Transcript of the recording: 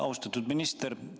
Austatud minister!